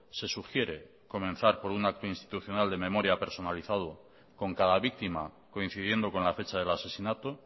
se sugiere comenzar por un acto institucional de memoria personalizado con cada víctima coincidiendo con la fecha del asesinato